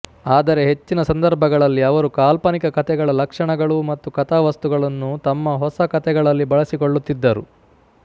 ಆದರೆ ಹೆಚ್ಚಿನ ಸಂದರ್ಭಗಳಲ್ಲಿ ಅವರು ಕಾಲ್ಪನಿಕ ಕಥೆಗಳ ಲಕ್ಷಣಗಳು ಮತ್ತು ಕಥಾವಸ್ತುಗಳನ್ನು ತಮ್ಮ ಹೊಸ ಕಥೆಗಳಲ್ಲಿ ಬಳಸಿಕೊಳ್ಳುತ್ತಿದ್ದರು